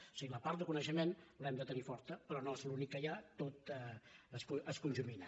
o sigui la part de coneixement l’hem de tenir forta però no és l’únic que hi ha tot es conjumina